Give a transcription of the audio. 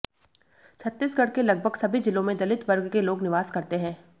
छत्तीसगढ़ के लगभग सभी जिलों में दलित वर्ग के लोग निवास करते हैं